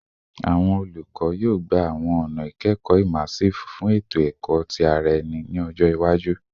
Awọn olukọ, yoo gba awọn ọna ikẹkọ immersive fun eto-ẹkọ ti ara ẹni ni ọjọ iwaju